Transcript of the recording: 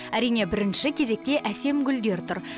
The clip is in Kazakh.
әрине бірінші кезекте әсем гүлдер тұр